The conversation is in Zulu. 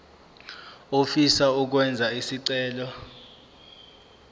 ofisa ukwenza isicelo